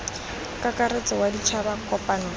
kakaretso wa ditšhaba kopano fa